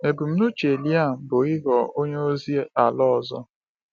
Ebumnuche Liam bụ ịghọ onye ozi ala ọzọ.